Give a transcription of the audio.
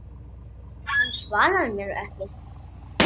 Hann svarar mér ekki.